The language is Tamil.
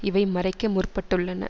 இவை மறைக்க முற்பட்டுள்ளன